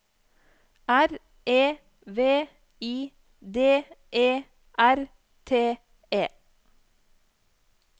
R E V I D E R T E